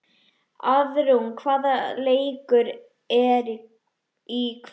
Auðrún, hvaða leikir eru í kvöld?